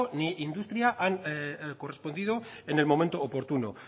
ni industria han correspondido en el momento oportuno